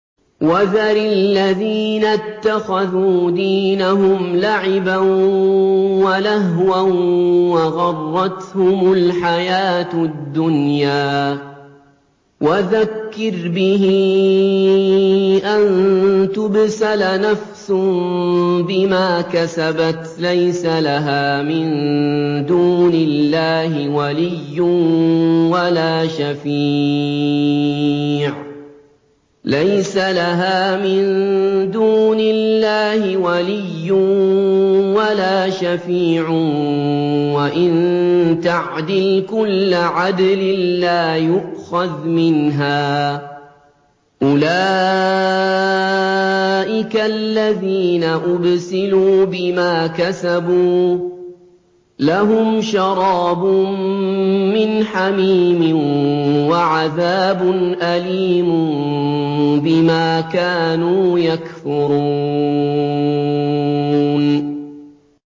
وَذَرِ الَّذِينَ اتَّخَذُوا دِينَهُمْ لَعِبًا وَلَهْوًا وَغَرَّتْهُمُ الْحَيَاةُ الدُّنْيَا ۚ وَذَكِّرْ بِهِ أَن تُبْسَلَ نَفْسٌ بِمَا كَسَبَتْ لَيْسَ لَهَا مِن دُونِ اللَّهِ وَلِيٌّ وَلَا شَفِيعٌ وَإِن تَعْدِلْ كُلَّ عَدْلٍ لَّا يُؤْخَذْ مِنْهَا ۗ أُولَٰئِكَ الَّذِينَ أُبْسِلُوا بِمَا كَسَبُوا ۖ لَهُمْ شَرَابٌ مِّنْ حَمِيمٍ وَعَذَابٌ أَلِيمٌ بِمَا كَانُوا يَكْفُرُونَ